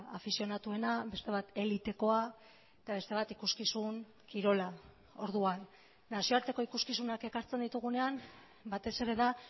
afizionatuena beste bat elitekoa eta beste bat ikuskizun kirola orduan nazioarteko ikuskizunak ekartzen ditugunean batez ere da